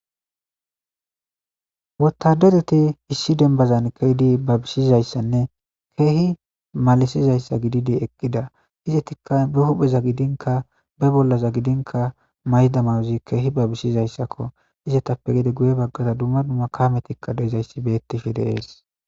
Wotadedeti issi denbazan keeydi babisizayssanne keehi malisizayssa gididi eqqida izetikka be hupheza gidinka be bollaza gidinka mayda mawuzi keehi babisizayssakko izatappe gede guye baggada dumma dumma kametikka deezayssi beettifi deees.